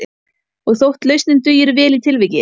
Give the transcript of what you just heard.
Og þótt lausnin dugir vel í tilviki